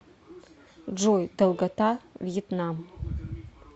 джой долгота вьетнам